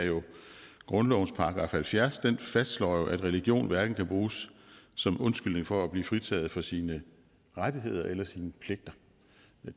grundlovens § halvfjerds den fastslår jo at religion hverken kan bruges som undskyldning for at blive fritaget for sine rettigheder eller sine pligter